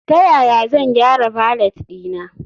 Ta yaya zan gyara valet ɗina?